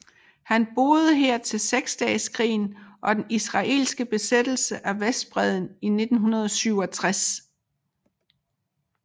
Han boede her til Seksdageskrigen og den israelske besættelse af Vestbredden i 1967